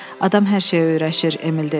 Adam hər şeyə öyrəşir, Emil dedi.